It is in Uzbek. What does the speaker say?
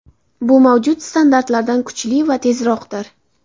Bu mavjud standartlardan kuchli va tezroqdir.